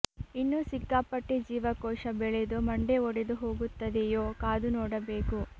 ಇನ್ನು ಸಿಕ್ಕಾಪಟ್ಟೆ ಜೀವ ಕೋಶ ಬೆಳೆದು ಮಂಡೆ ಒಡೆದು ಹೋಗುತ್ತದೆಯೋ ಕಾದುನೋಡಬೇಕು